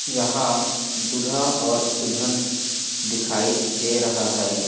यहाँ दूल्हा और दुल्हन दिखाई दे रहा हैं।